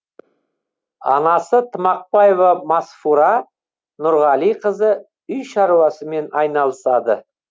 анасы тымақбаева масфура нұрғалиқызы үй шаруасымен айналысады